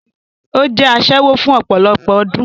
Ó jẹ́ asẹ́wó fún ọpọ̀lọpọ̀ ọdún